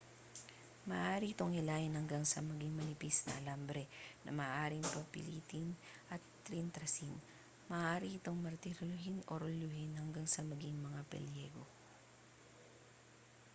maaari itong hilahin hanggang sa maging manipis na alambre na maaaring pilipitin at tirintasin maaari itong martilyuhin o rolyuhin hanggang sa maging mga pilyego